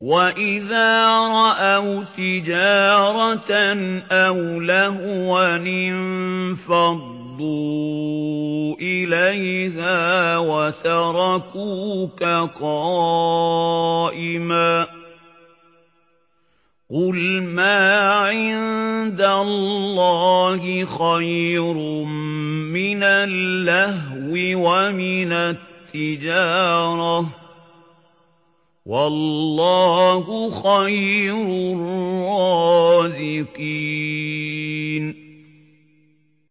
وَإِذَا رَأَوْا تِجَارَةً أَوْ لَهْوًا انفَضُّوا إِلَيْهَا وَتَرَكُوكَ قَائِمًا ۚ قُلْ مَا عِندَ اللَّهِ خَيْرٌ مِّنَ اللَّهْوِ وَمِنَ التِّجَارَةِ ۚ وَاللَّهُ خَيْرُ الرَّازِقِينَ